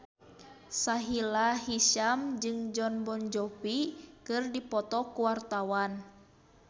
Sahila Hisyam jeung Jon Bon Jovi keur dipoto ku wartawan